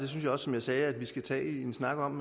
og som jeg sagde synes jeg vi skal tage en snak om